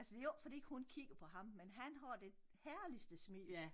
Altså det jo ikke fordi hun kigger på ham men han har det herligste smil